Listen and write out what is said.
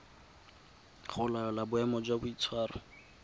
go laola boemo jwa boitshwaro